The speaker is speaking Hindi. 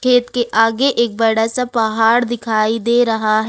खेत के आगे एक बड़ा सा पहाड़ दिखाई दे रहा--